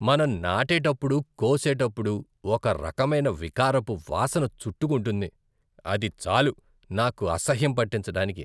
మనం నాటేటప్పుడు, కోసేటప్పుడు ఒక రకమైన వికారపు వాసన చుట్టుకుంటుంది, అది చాలు నాకు అసహ్యం పుట్టించడానికి.